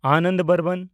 Anand Barman